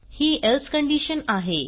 ही else condition आहे